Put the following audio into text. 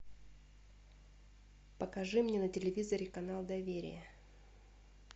покажи мне на телевизоре канал доверие